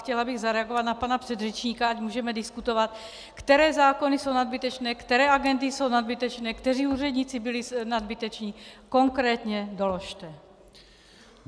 Chtěla bych zareagovat na pana předřečníka, ať můžeme diskutovat, které zákony jsou nadbytečné, které agendy jsou nadbytečné, kteří úředníci byli nadbyteční - konkrétně doložte.